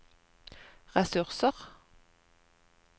ressurser